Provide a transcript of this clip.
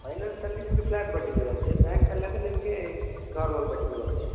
Finance ನಲ್ಲಿ ನಿಮ್ಗೆ flat ಬಡ್ಡಿ ಬೀಳತ್ತೆ bank ಅಲ್ಲಾದ್ರೆ ನಿಮ್ಗೆ normal ಬಡ್ಡಿ ಬೀಳತ್ತೆ.